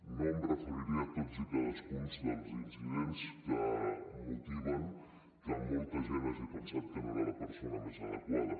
no em referiré a tots i cadascun dels incidents que motiven que molta gent hagi pensat que no era la persona més adequada